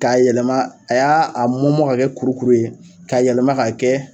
K'a yɛlɛma a y'a a mɔmɔ k'a kɛ kurukuru ye k'a yɛlɛma k'a kɛ